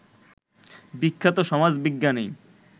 বিখ্যাত সমাজবিজ্ঞানী